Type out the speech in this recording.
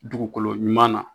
Dugukolo ɲuman na.